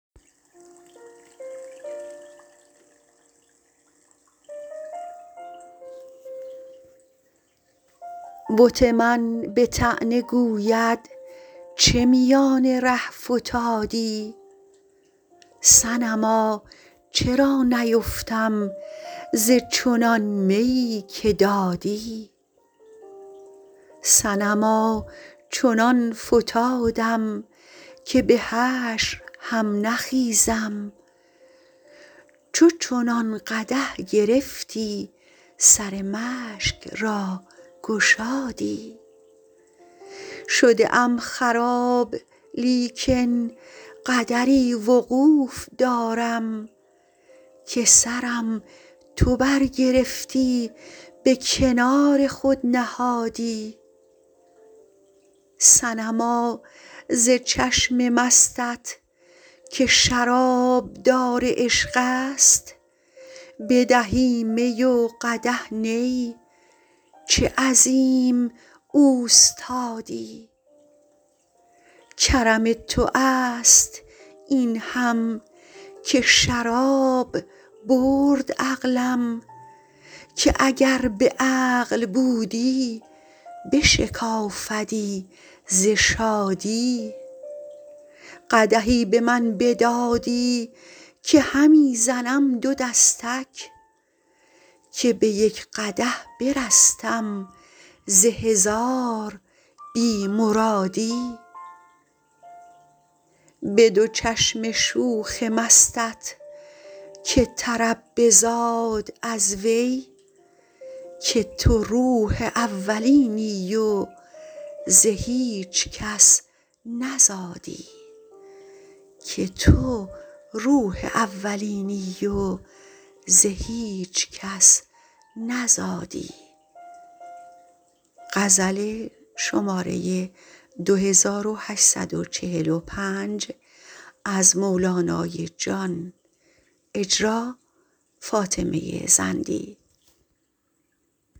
بت من به طعنه گوید چه میان ره فتادی صنما چرا نیفتم ز چنان میی که دادی صنما چنان فتادم که به حشر هم نخیزم چو چنان قدح گرفتی سر مشک را گشادی شده ام خراب لیکن قدری وقوف دارم که سرم تو برگرفتی به کنار خود نهادی صنما ز چشم مستت که شرابدار عشق است بدهی می و قدح نی چه عظیم اوستادی کرم تو است این هم که شراب برد عقلم که اگر به عقل بودی شکافدی ز شادی قدحی به من بدادی که همی زنم دو دستک که به یک قدح برستم ز هزار بی مرادی به دو چشم شوخ مستت که طرب بزاد از وی که تو روح اولینی و ز هیچ کس نزادی